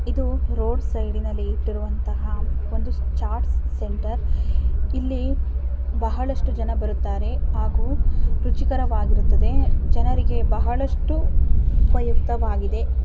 ಇದು road side ನಲ್ಲಿ ಇಟ್ಟಿರುವಂತಹ ಒಂದು ಚಾಟ್ ಸೆಂಟರ್ ಇಲ್ಲಿ ಬಹಳಷ್ಟು ಜನ ಬರುತ್ತಾರೆ ಹಾಗೂ ರುಚಿಕರವಾಗಿರುತ್ತದೆ ಜನರಿಗೆ ಬಹಳಷ್ಟು ಉಪಯುಕ್ತವಾಗಿದೆ.